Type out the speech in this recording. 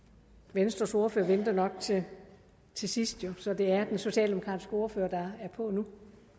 venstres ordfører venter nok til sidst så det er den socialdemokratiske ordfører er på nu